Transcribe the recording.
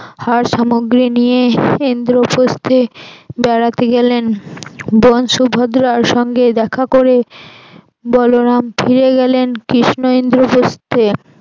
নিয়ে ইন্দ্রপ্রস্থে বেড়াতে গেলেন বোন সুভদ্রার সঙ্গে দেখা করে বলরাম ফিরে গেলেন কৃষ্ণা ইন্দ্রপ্রস্থে